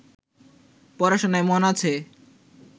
পড়াশোনায় মন আছে